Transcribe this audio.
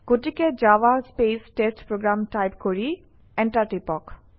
গতিকে Java space test program type কৰি enter টিপক